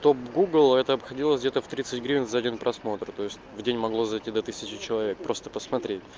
топ в гугл это обходилось где-то в тридцать гривень за один просмотр то есть в день могло зайти до тысячи человек просто посмотреть